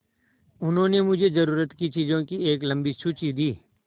उन्होंने मुझे ज़रूरत की चीज़ों की एक लम्बी सूची दी